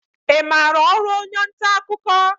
I maara ọrụ onye nta akụkọ?